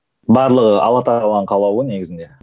барлығы алла тағаланың қалауы негізінде